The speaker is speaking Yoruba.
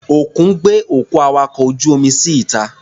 Òkun gbé òkú awakọ̀ ojú-omi sí ìta.